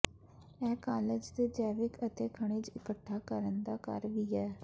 ਇਹ ਕਾਲਜ ਦੇ ਜੈਵਿਕ ਅਤੇ ਖਣਿਜ ਇਕੱਠਾ ਕਰਨ ਦਾ ਘਰ ਵੀ ਹੈ